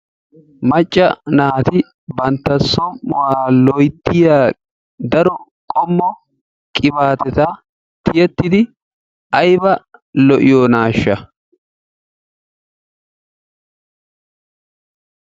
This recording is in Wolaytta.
Macca naati bantta somu"uwa loyttiya qibaatiya tiyettidi ayba lo'iyonaashsha?